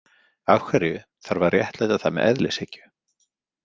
Af hverju þarf að réttlæta það með eðlishyggju?